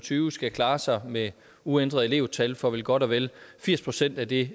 og tyve skal klare sig med uændret elevtal for vel godt og vel firs procent af det